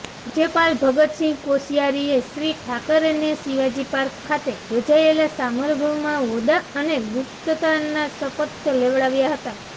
રાજયપાલ ભગતસિંહ કોશીયારીએ શ્રી ઠાકરેનેશિવાજી પાર્ક ખાતે યોજાયેલા સામરંભમાં હોદૃા અને ગુપ્તતાના શપથ લેવડાવ્યા હતા